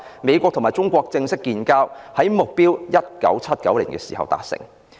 美國與中國正式建交的目標，在1979年達成。